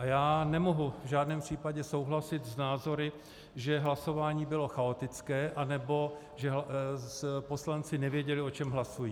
A já nemohu v žádném případě souhlasit s názory, že hlasování bylo chaotické nebo že poslanci nevěděli, o čem hlasují.